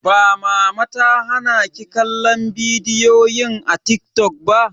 Ba mama ta hana ki kallon bidiyoyin a TikTok ba?